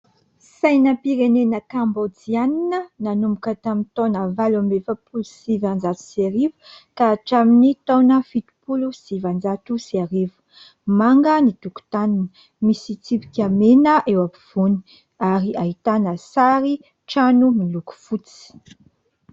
Sainam-pirenena kambojiana nanomboka tamin'ny taona valo amby efapolo sy vanlonjato sy arivo ka hatramin'ny taona fitopolo sy valonjato sy arivo. Manga ny tokotaniny, misy tsipika mena eo ampovoany ary ahitana sary trano miloko fotsy.